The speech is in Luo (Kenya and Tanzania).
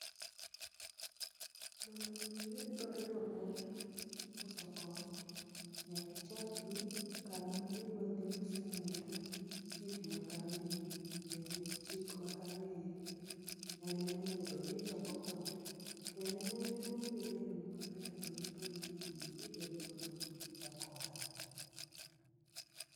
Mondo mi iyud barua mar uso kong'o, nyaki chak gi kama idwa dhi use noero. Chif ma kanyo ero, jarit chik ma kanyo ero, en emonego bedni ichako kode. Kendo en emobiro leroni maber barupe monego bedni ibededo godo mondichak ohala no.